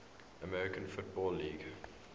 american football league